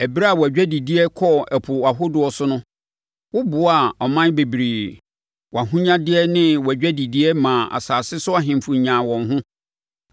Ɛberɛ a wʼadwadideɛ kɔɔ ɛpo ahodoɔ so no woboaa aman bebree; Wʼahonyadeɛ ne wʼadwadideɛ maa asase so ahemfo nyaa wɔn ho.